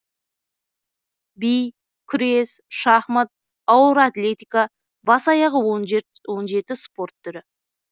би күрес шахмат ауыр атлетика бас аяғы он жеті спорт түрі